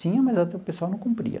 Tinha, mas o pessoal não cumpria.